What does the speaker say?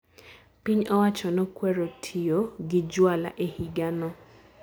Piny owacho nokwero tiyo gi jwala e higa no